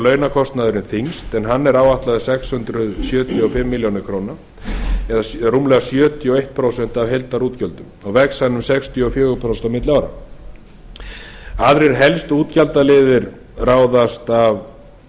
launakostnaðurinn þyngst en hann er áætlaður sex hundruð sjötíu og fimm milljónir króna eða rúmlega sjötíu og eitt prósent af heildarútgjöldum og vex hann um sextíu og fjögur prósent á milli ára aðrir helstu útgjaldaliðir ráðast af